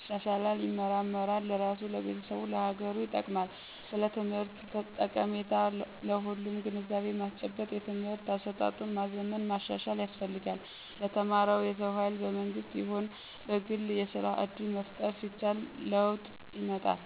ይሻሻላል ይመራመራል ለራሱ፣ ለቤተሰቡ፣ ለሀገሩ ይጠቅማል። ስለ ትምህርት ጠቀሜታ ለሁሉም ግንዛቤ ማስጨበጥ የትምህርት አሰጣጡን ማዘመን ማሻሻል ያስፈልጋል። ለተማረው የሰው ሀይል በመንግስትም ይሁን በግል የስራ እድል መፍጠር ሲቻል ለወጥ ይመጣል።